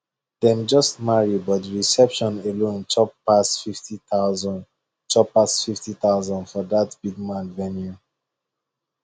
dem just marry but the reception alone chop pass fifty thousand chop pass fifty thousand for that big man venue